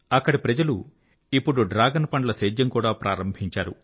అక్కడి ప్రజలు ఇప్పుడు డ్రాగన్ పండ్ల సేద్యం కూడా ప్రారంభించారు